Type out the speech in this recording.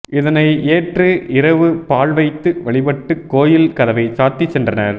இதனை ஏற்று இரவு பால்வைத்து வழிபட்டு கோயில் கதவை சாத்தி சென்றனர்